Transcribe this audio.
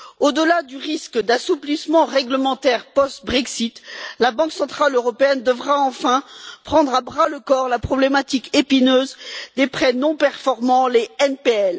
Au delà du risque d'assouplissement réglementaire post Brexit, la Banque centrale européenne devra enfin prendre à bras le corps la problématique épineuse des prêts non performants, les NPL.